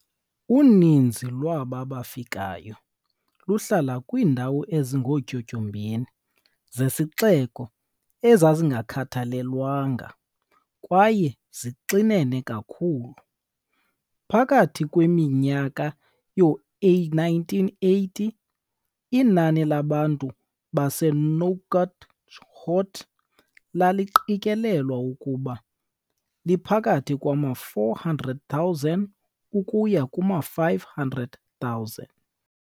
Uninzi lwaba bafikayo luhlala kwiindawo ezingootyotyombeni zesixeko ezazingakhathalelwanga kwaye zixinene kakhulu. Phakathi kwiminyaka yoo-1980, inani labantu baseNouakchott laliqikelelwa ukuba liphakathi kwama-400,000 ukuya kuma-500,000.